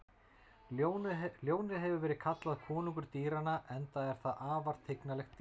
Ljónið hefur verið kallað konungur dýranna enda er það afar tignarlegt dýr.